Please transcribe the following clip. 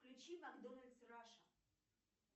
включи макдональдс раша